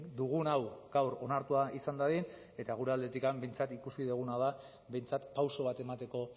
dugun hau gaur onartua izan dadin eta gure aldetik behintzat ikusi duguna da behintzat pauso bat emateko